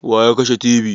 Waya kashe tibi?